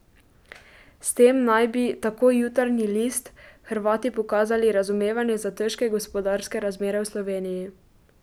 S tem naj bi, tako Jutarnji list, Hrvati pokazali razumevanje za težke gospodarske razmere v Sloveniji.